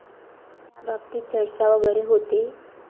त्याबाबतीत चर्चा वगैरे होते?